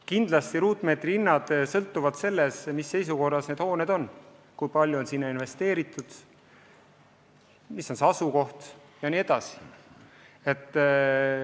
Kindlasti ruutmeetri hinnad sõltuvad sellest, mis seisukorras need hooned on, kui palju on sinna investeeritud, milline on asukoht jne.